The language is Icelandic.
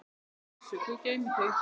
Elsku Bjössi, Guð geymi þig.